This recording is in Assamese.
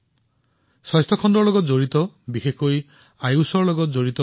ই ভাৰতৰ যুৱ উদ্যোগীসকলৰ প্ৰতীক আৰু ভাৰতত সৃষ্টি হোৱা নতুন সম্ভাৱনাৰ প্ৰতীক